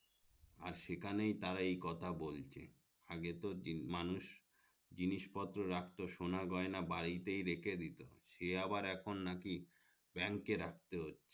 আর সেখানেই তারা এই কথা বলছে আগে তো দিন মানুষ জিনিস পত্রর রাখতো সোনাগয়না বাড়িতে রেখে দিতো সাড়ে আবার এখন নাকি bank রাখতে হচ্ছে